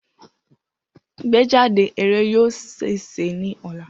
Igbejade eré yoo ṣee ṣe ni ọla.